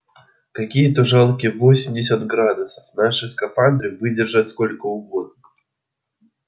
какие-то жалкие восемьдесят градусов наши скафандры выдержат сколько угодно